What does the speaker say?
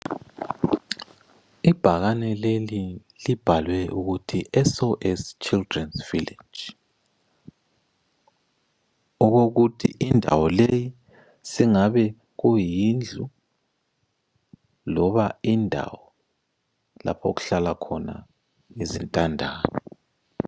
Ibhakane leli libhalwe ukuthi SOS Children’s Villages okokuthi indawo leyi singabe kuyindlu loba indawo lapho okuhlala khona izintandane.